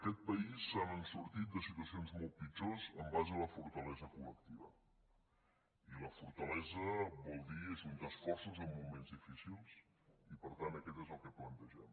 aquest país se n’ha sortit de situacions molt pitjors en base a la fortalesa col·lectiva i la fortalesa vol dir ajuntar esforços en moments difícils i per tant aquest és el que plantegem